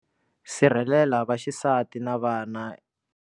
Sirhelela vaxisati na vana.